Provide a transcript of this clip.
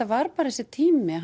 var bara þessi tími